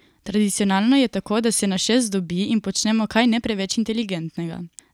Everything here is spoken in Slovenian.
Tradicionalno je tako, da se nas šest dobi in počnemo kaj ne preveč inteligentnega.